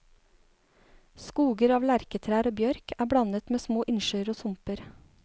Skoger av lerketrær og bjørk er blandet med små innsjøer og sumper.